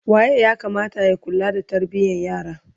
waye ya Kamata ya kula da tarbiyan yara?